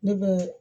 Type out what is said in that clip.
Ne bɛ